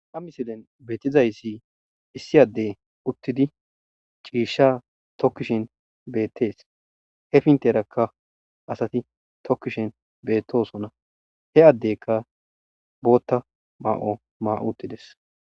Ha missilen betizayisi issi ade uttidi cisha tokishen betes he penteraka asati tokishen betosona he adeka botha ma'ua mautides.